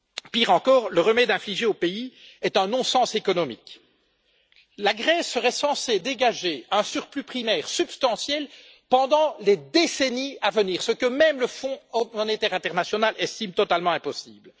Pire encore, le remède infligé au pays est un non sens économique. La Grèce serait censée dégager un surplus primaire substantiel pendant les décennies à venir, ce que même le fonds monétaire international estime totalement impossible.